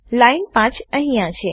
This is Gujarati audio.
લાઈન 5 અહીંયા છે